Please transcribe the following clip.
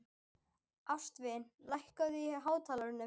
Ástvin, lækkaðu í hátalaranum.